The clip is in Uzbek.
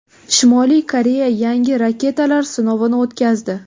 Shimoliy Koreya yangi raketalar sinovini o‘tkazdi.